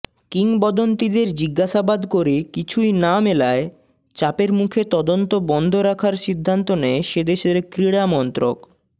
কিংবদন্তিদের জিজ্ঞাসাবাদ করে কিছুই না মেলায় চাপের মুখে তদন্ত বন্ধ রাখার সিদ্ধান্ত নেয় সেদেশের ক্রীড়ামন্ত্রক